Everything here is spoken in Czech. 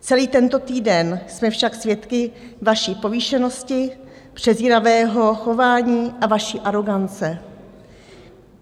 Celý tento týden jsme však svědky vaší povýšenosti, přezíravého chování a vaší arogance.